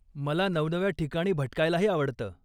मला नवनव्या ठिकाणी भटकायलाही आवडतं.